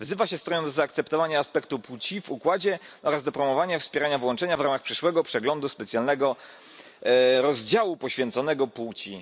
wzywa się strony do zaakceptowania aspektu płci w układzie oraz do promowania i wspierania włączenia w ramach przyszłego przeglądu specjalnego rozdziału poświęconego płci....